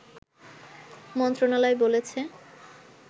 মন্ত্রণালয় বলেছে